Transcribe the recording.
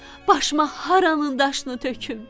Başıma haranın daşını töküm?